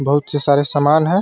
बहुत से सारे सामान है।